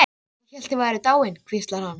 Ég hélt þið væruð dáin, hvíslar hann.